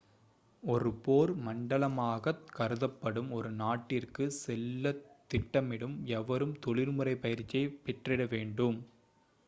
ஒரு போர் மண்டலமாகக் கருதப்படும் ஒரு நாட்டிற்கு செல்லத் திட்டமிடும் எவரும் தொழிற்முறை பயிற்சியை பெற்றிட வேண்டும்